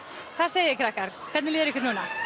hvað segið þið krakkar hvernig líður ykkur núna